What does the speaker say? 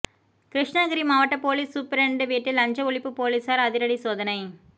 கிருஷ்ணகிரி மாவட்ட police superintendent வீட்டில் லஞ்ச ஒழிப்பு போலீசார் அதிரடி சோதனை